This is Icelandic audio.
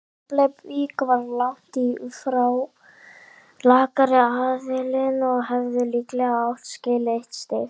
Keflavík var langt í frá lakari aðilinn og hefði líklega átt skilið eitt stig.